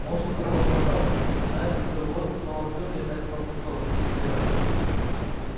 он что-то пробормотал запинаясь закрыл рот снова открыл и опять стал пунцовым как герань